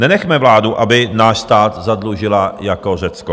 Nenechme vládu, aby náš stát zadlužila jako Řecko.